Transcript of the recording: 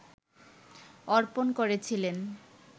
অর্পণ করেছিলেন